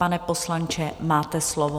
Pane poslanče, máte slovo.